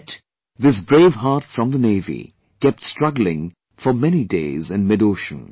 Yet, this brave heart from the Navy kept struggling for many days in midocean